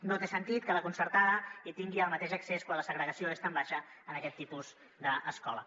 no té sentit que la concertada hi tingui el mateix accés quan la segregació és tan baixa en aquest tipus d’escola